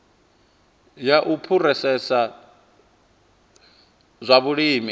ya u phurosesa zwa vhulimi